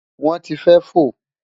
won ti fe fo